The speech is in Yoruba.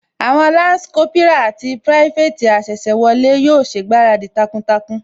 Àwọn Lansi Kópírà àti pirafeti asese wọlé yóò ṣègbáradì takuntakun